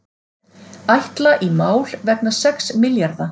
Ætla í mál vegna sex milljarða